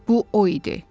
Bu o idi.